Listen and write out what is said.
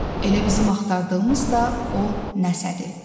Elə bizim axtardığımız da o nəsədir.